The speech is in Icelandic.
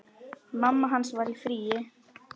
Mamma hans var í fríi.